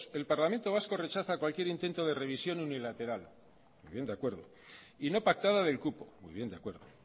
el parlamento vasco rechaza cualquier intento de revisión unilateral muy bien de acuerdo y no pactada del cupo muy bien de acuerdo